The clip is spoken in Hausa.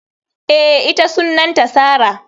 Eh, ita Sunanta Sarah.